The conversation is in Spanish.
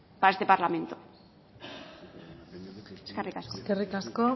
para este parlamento eskerrik asko eskerrik asko